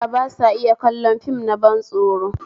Yara ba sa iya kallon fim na ban tsoro